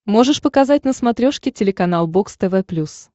можешь показать на смотрешке телеканал бокс тв плюс